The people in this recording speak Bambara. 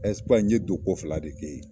n ye donko fila de kɛ yen.